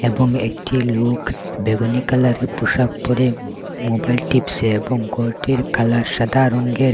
এবং একটি লোক বেগুনি কালারের পোশাক পড়ে মোবাইল টিপছে এবং ঘরটির কালার সাদা রংয়ের।